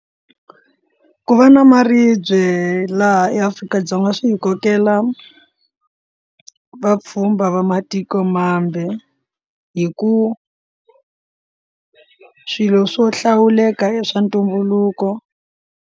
Ku va na maribye laha eAfrika-Dzonga swi hi kokela vapfhumba va matiko mambe hi ku swilo swo hlawuleka i swa ntumbuluko.